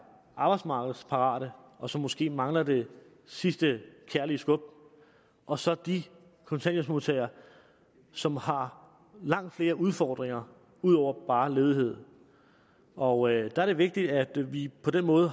arbejdsmarkedsparate og som måske mangler det sidste kærlige skub og så de kontanthjælpsmodtagere som har langt flere udfordringer ud over bare ledighed og der er det vigtigt at vi på den måde